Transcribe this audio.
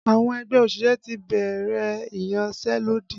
Àwọn ẹgbẹ́ òṣìṣẹ́ ti bẹ̀rẹ̀ iyanselodi